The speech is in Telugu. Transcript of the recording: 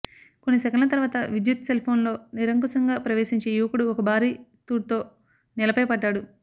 కొన్ని సెకన్ల తర్వాత విద్యుత్ సెల్ఫోన్లో నిరంకుశంగా ప్రవేశించి యువకుడు ఒక భారీ తుడ్తో నేలపై పడ్డాడు